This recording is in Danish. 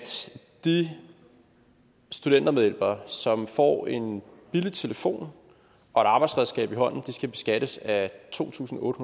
de studentermedhjælpere som får en billig telefon og et arbejdsredskab i hånden skal beskattes af to tusind otte